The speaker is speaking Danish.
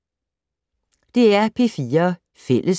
DR P4 Fælles